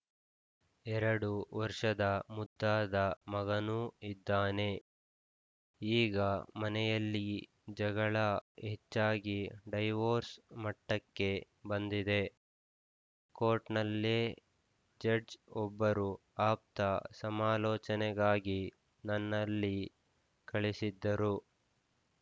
ಎರಡು ವರ್ಷದ ಮುದ್ದಾದ ಮಗನೂ ಇದ್ದಾನೆ ಈಗ ಮನೆಯಲ್ಲಿ ಜಗಳ ಹೆಚ್ಚಾಗಿ ಡೈವೋರ್ಸ್‌ ಮಟ್ಟಕ್ಕೆ ಬಂದಿದೆ ಕೋರ್ಟ್‌ನಲ್ಲೇ ಜಡ್ಜ್‌ ಒಬ್ಬರು ಆಪ್ತ ಸಮಾಲೋಚನೆಗಾಗಿ ನನ್ನಲ್ಲಿ ಕಳಿಸಿದ್ದರು